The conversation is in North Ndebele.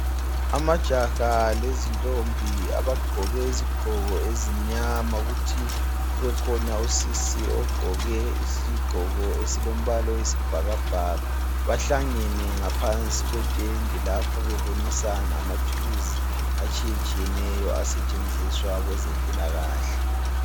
Amajaha lezintombi abagqoke izigqoko ezimnyama kuthi kubekhona usisi ogqoke isigqoko esilombala oyisibhakabhaka. Bahlangene ngaphansi kwetende lapho bebonisana ngamathulusi atshiyetshiyeneyo asstshenziswa kwezempilakahle.